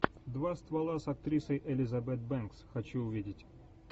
два ствола с актрисой элизабет бэнкс хочу увидеть